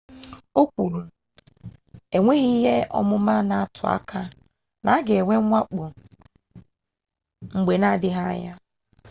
o kwuru enweghị ihe ọmụma na-atụ aka na a ga-enwe mwakpo mgbe na-adịghị anya